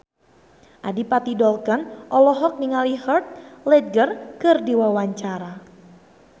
Adipati Dolken olohok ningali Heath Ledger keur diwawancara